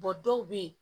dɔw bɛ yen